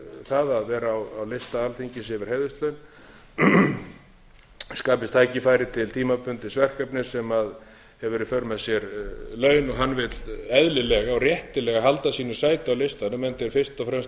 það að vera á lista alþingis yfir heiðurslaun skapist tækifæri til tímabundins verkefnis sem hefur í för með sér laun og hann vill eðlilega og réttilega halda sínu sæti á listanum enda er fyrst og fremst um að ræða